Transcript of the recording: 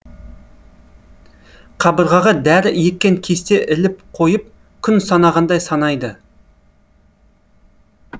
қабырғаға дәрі еккен кесте іліп қойып күн санағандай санайды